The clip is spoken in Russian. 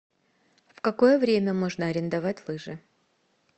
в какое время можно арендовать лыжи